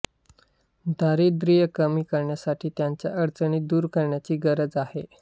दारिद्र्य कमी करण्यासाठी त्यांच्या अडचणी दूर करण्याची गरज आहे